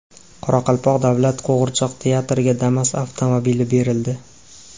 Qoraqalpoq davlat qo‘g‘irchoq teatriga Damas avtomobili berildi.